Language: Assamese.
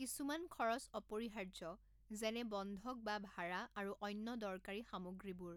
কিছুমান খৰচ অপৰিহাৰ্য্য যেনে বন্ধক বা ভাৰা আৰু অন্য দৰকাৰী সামগ্ৰীবোৰ।